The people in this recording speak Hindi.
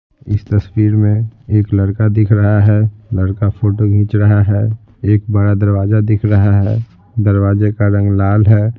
इस तस्वीर में एक लड़का दिख रहा है लड़का फोटो खींच रहा है एक बड़ा दरवाजा दिख रहा है दरवाजे का रंग लाल है।